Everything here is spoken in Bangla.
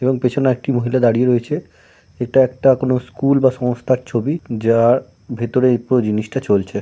এবং পেছনে একটি মহিলা দাঁড়িয়ে রয়েছে এটা একটা কোন স্কুল বা সংস্থার ছবি যার ভেতরেই পুরো জিনিসটা চলছে।